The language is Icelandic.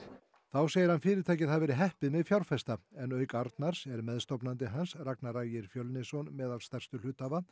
þá segir hann fyrirtækið hafa verið heppið með fjárfesta en auk Arnars er meðstofnandi hans Ragnar Ægir meðal stærstu hluthafa